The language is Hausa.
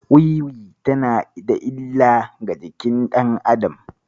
Wiwi tana da illa ga jikin ɗan adam.